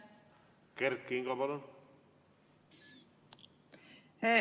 Kert Kingo, palun!